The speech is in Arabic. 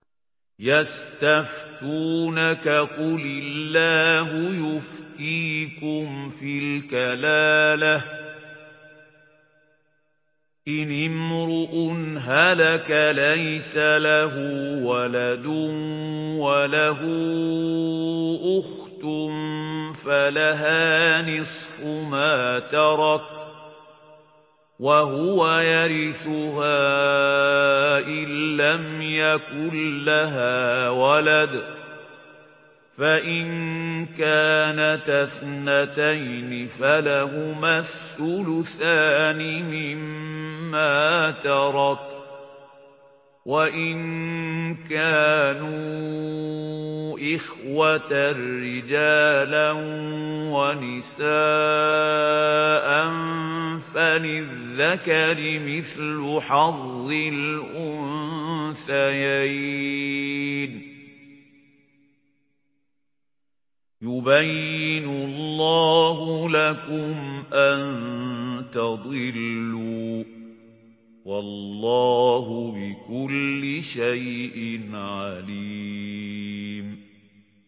يَسْتَفْتُونَكَ قُلِ اللَّهُ يُفْتِيكُمْ فِي الْكَلَالَةِ ۚ إِنِ امْرُؤٌ هَلَكَ لَيْسَ لَهُ وَلَدٌ وَلَهُ أُخْتٌ فَلَهَا نِصْفُ مَا تَرَكَ ۚ وَهُوَ يَرِثُهَا إِن لَّمْ يَكُن لَّهَا وَلَدٌ ۚ فَإِن كَانَتَا اثْنَتَيْنِ فَلَهُمَا الثُّلُثَانِ مِمَّا تَرَكَ ۚ وَإِن كَانُوا إِخْوَةً رِّجَالًا وَنِسَاءً فَلِلذَّكَرِ مِثْلُ حَظِّ الْأُنثَيَيْنِ ۗ يُبَيِّنُ اللَّهُ لَكُمْ أَن تَضِلُّوا ۗ وَاللَّهُ بِكُلِّ شَيْءٍ عَلِيمٌ